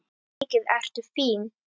Mikið ertu fín!